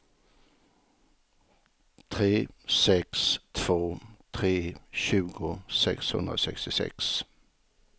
tre sex två tre tjugo sexhundrasextiosex